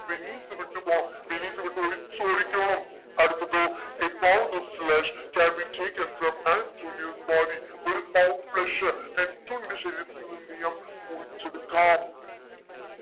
Venice വിട്ട് പോ Venice വിട്ട് ഒളിച്ചോടിക്കോണം അടുത്തത് a pound of flesh can be taken from antonio's body ഒരു pound flesh ആന്റോണിയോടെ body ന്ന് എന്തെയ്യാം മുറിച്ചെടിക്കാം